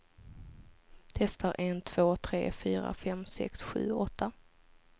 Testar en två tre fyra fem sex sju åtta.